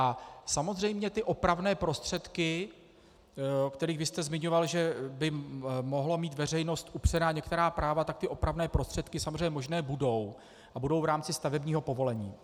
A samozřejmě ty opravné prostředky, o kterých vy jste zmiňoval, že by mohla mít veřejnost upřena některá práva, tak ty opravné prostředky samozřejmě možné budou a budou v rámci stavebního povolení.